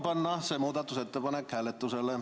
Palun panna see muudatusettepanek hääletusele.